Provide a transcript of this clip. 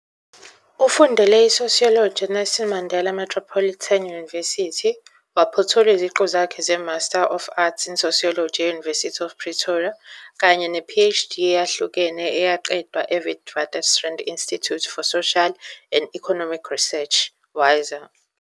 Ufundele iSociology eNelson Mandela Metropolitan University, waphothula iziqu zakhe zeMaster of Arts in Sociology e-University of Pretoria kanye ne- Phd eyahlukene eyaqedwa eWitwatersrand Institute for Social and Economic Research, WISER.